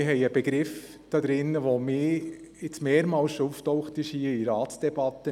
Wir haben einen Begriff, der schon mehrmals in der Ratsdebatte aufgetaucht ist.